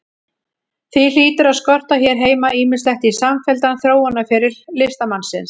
Því hlýtur að skorta hér heima ýmislegt í samfelldan þróunarferil listamannsins.